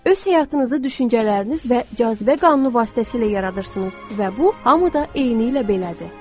Öz həyatınızı düşüncələriniz və cazibə qanunu vasitəsilə yaradırsınız və bu hamı da eynilə belədir.